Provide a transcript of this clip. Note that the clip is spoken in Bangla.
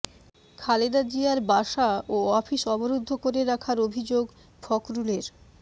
খালেদা জিয়ার বাসা ও অফিস অবরুদ্ধ করে রাখার অভিযোগ ফখরুলের